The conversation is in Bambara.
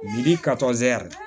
Biriki